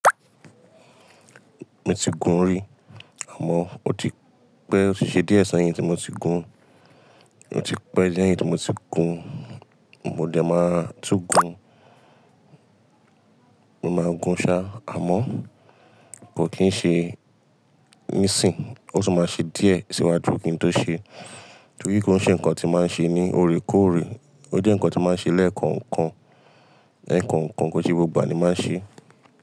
Mo ti gùn rí àmọ́ ó ti pẹ́, ó ti ṣe díẹ́ sẹyìn tí mo ti gùn. Ó ti pẹ́ díẹ̀ yẹn tí mo ti gùn. Mo ẹ máa tú gùn. Mo máa n gùn ṣá, àmọ́ kò kín ṣe nísìn ó tún máa ṣe díẹ̀ síwájú kí n tó ṣe. Tori ko n ṣe nkán ti máà ṣe ní lóòrèkóòrè. Ó jẹ́ nǹkan tí máa ń ṣe lẹ́ẹ̀koo kan. Ẹ̀ẹ̀kan kan kó ṣe gbogbo ìgbà ní máa ṣe.